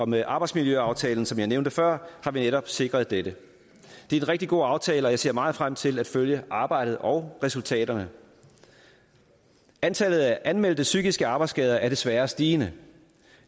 med arbejdsmiljøaftalen som jeg nævnte før har vi netop sikret dette det er en rigtig god aftale og jeg ser meget frem til at følge arbejdet og resultaterne antallet af anmeldte psykiske arbejdsskader er desværre stigende